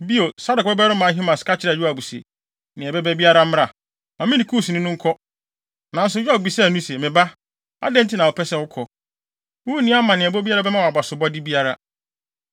Bio, Sadok babarima Ahimaas ka kyerɛɛ Yoab se, “Nea ɛbɛba biara mmra, ma me ne Kusni no nkɔ.” Nanso Yoab bisaa no se, “Me ba, adɛn nti na wopɛ sɛ wokɔ? Wunni amanneɛbɔ biara a ɛbɛma wo abasobɔde biara.”